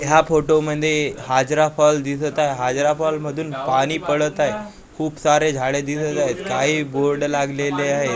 ह्या फोटो मध्ये हाजरा फॉल दिसत आहे हाजरा फॉल मधून पाणी पडत आहे खूप सारे झाडे दिसत आहेत काही बोर्ड लागलेले आहेत.